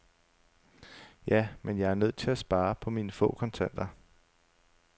Ja, men jeg er nødt til at spare på mine få kontanter.